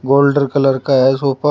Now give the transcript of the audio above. गोल्डर colour का है sofa.